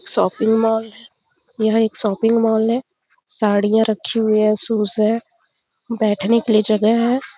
Shopping mall है यह एक शोपिंग मॉल है साड़ियाँ रखी हुई है शूज़ है बैठने के लिए जगह है।